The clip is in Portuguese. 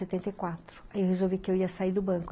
Em setenta e quatro, ai eu resolvi que eu ia sair do banco.